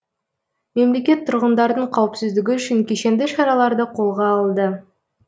мемлекет тұрғындардың қауіпсіздігі үшін кешенді шараларды қолға алды